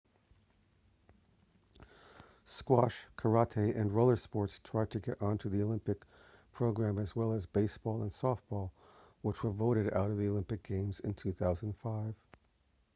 squash karate and roller sports tried to get onto the olympic program as well as baseball and softball which were voted out of the olympic games in 2005